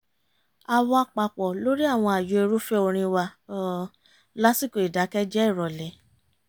a wà papọ̀ lórí àwọn ààyò irúfẹ́ orin wa lásìkò ìdákẹ́jẹ́ ìrọ̀lẹ́